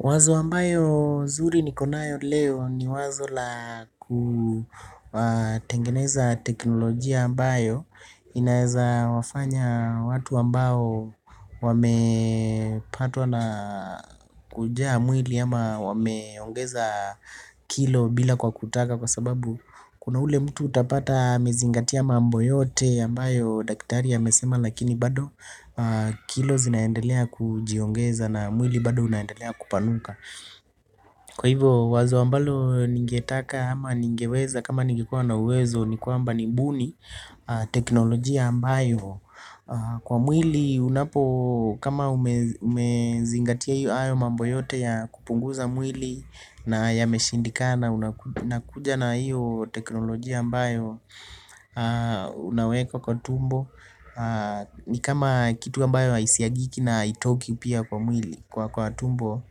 Wazo ambayo zuri niko nayo leo ni wazo la kutengeneza teknolojia ambayo inaeza wafanya watu ambao wame patwa na kujaa mwili ama wameongeza kilo bila kwa kutaka kwa sababu kuna ule mtu utapata amezingatia mambo yote ambayo daktari amesema lakini bado kilo zinaendelea kujiongeza na mwili bado unaendelea kupanuka. Kwa hivyo wazo ambalo ningetaka ama ningeweza kama ningekuwa na uwezo nikuwa mba nibuni teknolojia ambayo kwa mwili unapo kama umezingatia iyo hayo mambo yote ya kupunguza mwili na ya meshindika na unakuja na iyo teknolojia ambayo unaweka kwa tumbo. Ni kama kitu ambayo isiagiki na haitoki pia kwa mwili kwa kwa tumbo.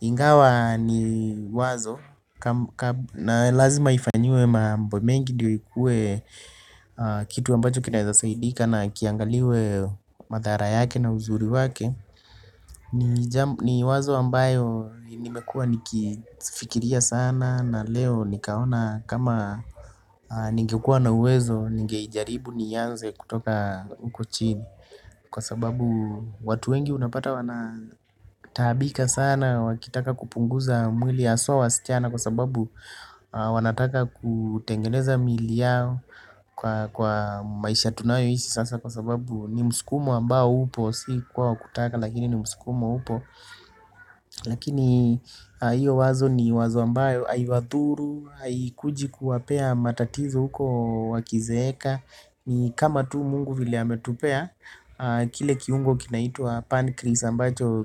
Ingawa ni wazo na lazima ifanyiwe mambo mengi ndio ikue kitu ambacho kinaezasaidika na kiangaliwe madhara yake na uzuri wake. Ni wazo ambayo nimekua nikifikiria sana na leo nikaona kama ningekua na uwezo ningeijaribu nianze kutoka uko chini kwa sababu watu wengi unapata wanataabika sana wakitaka kupunguza mwili aswa wasichana kwa sababu wanataka kutengeneza miili yao kwa maisha tunayo ishi sasa kwa sababu ni muskumo ambao upo si kwa wakutaka lakini ni muskumo upo lakini iyo wazo ni wazo ambayo aiwathuru ayikuji kuwapea matatizo huko wakizeeka ni kama tu mungu vile ametupea. Kile kiungo kinaitua pancreas ambacho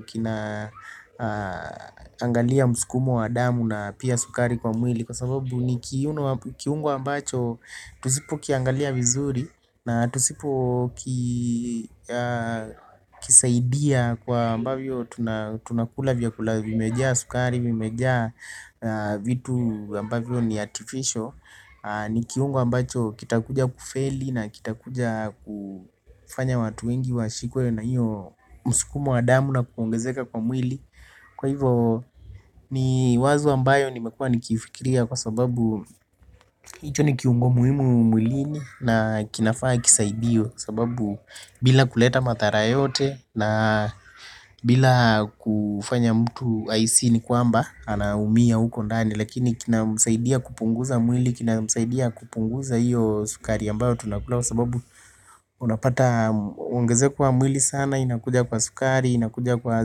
kinaangalia muskumo wa damu na pia sukari kwa mwili. Kwa sababu ni kiungo ambacho tusipokiangalia vizuri na tusipo kisaidia kwa ambavyo tunakula vya kula vimejaa sukari vimejaa vitu ambavyo ni artificial. Nikiungo ambacho kitakuja kufeli na kitakuja kufanya watu wengi washikwe na hiyo musikumo wa damu na kuongezeka kwa mwili. Kwa hivo ni wazo ambayo nimekua nikifikiria kwa sababu icho nikihungo muhimu mwilini na kinafaa kisaidiwe. Sababu bila kuleta madhara yote na bila kufanya mtu haisi ni kuamba anaumia huko ndani lakini kina msaidia kupunguza mwili, kina msaidia kupunguza hiyo sukari ambayo tunakula kwa sababu unapata ungezeko wa mwili sana inakuja kwa sukari, inakuja kwa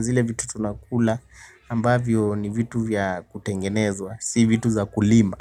zile vitu tunakula ambavyo ni vitu vya kutengenezwa, si vitu za kulima.